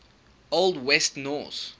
old west norse